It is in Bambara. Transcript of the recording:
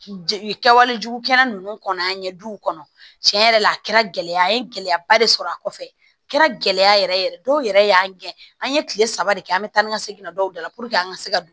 Kɛwale jugu kɛra ninnu kɔnɔ an ɲɛ duw kɔnɔ tiɲɛ yɛrɛ la a kɛra gɛlɛya ye gɛlɛyaba de sɔrɔ a kɔfɛ a kɛra gɛlɛya yɛrɛ yɛrɛ ye dɔw yɛrɛ y'an ŋɛn an ye kile saba de kɛ an be taa ni ka segin dɔw da la puruke an ka se ka don